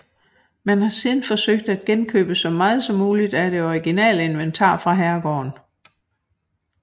Man har siden forsøgt at genkøbe så meget som muligt af det originale inventar fra herregården